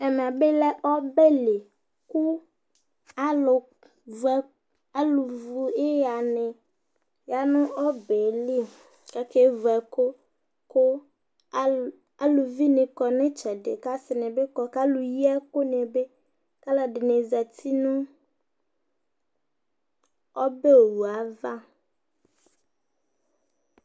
ɛfʊ yɔ aʋa yo wʊ alɛ dɩnɩ yaha ʊne kʊ owʊ yɛ manʊ ɩtsedɩ kʊ alɛfɩnɩ adʊ awʊ ʊgbatawla ɔlɔ dɩ azɛ awʊ tɩnya dɩ nʊ ahla